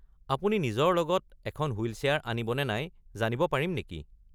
আপুনি নিজৰ লগত এখন হুইল চেয়াৰ আনিব নে নাই জানিব পাৰিম নেকি?